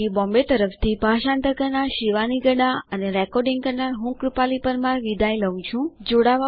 IIT Bombay તરફથી ભાષાંતર કરનાર હું શિવાની ગડા વિદાય લઉં છું